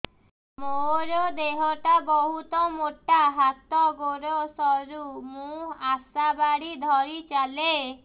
ମୋର ଦେହ ଟା ବହୁତ ମୋଟା ହାତ ଗୋଡ଼ ସରୁ ମୁ ଆଶା ବାଡ଼ି ଧରି ଚାଲେ